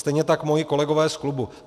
Stejně tak moji kolegové z klubu.